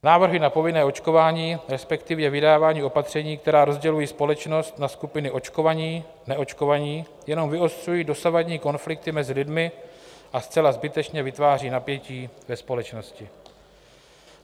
Návrhy na povinné očkování, respektive vydávání opatření, která rozdělují společnost na skupiny očkovaní-neočkovaní jenom vyostřují dosavadní konflikty mezi lidmi a zcela zbytečně vytváří napětí ve společnosti.